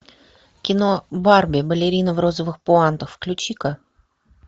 кино барби балерина в розовых пуантах включи ка